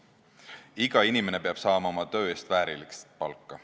Iga inimene peab saama oma töö eest väärilist palka.